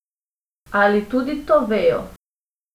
Ali tudi to vejo?